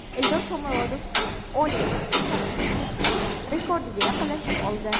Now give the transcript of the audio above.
Eldor Shomurodov Oleg Shatskixning rekordiga yaqinlashib oldi.